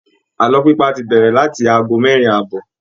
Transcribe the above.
Àlọ́ pípa ti bẹ̀rẹ̀ láti ago mẹ́rin àbọ̀